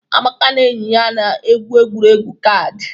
Amaka na enyi ya na-egwu egwuregwu kaadị.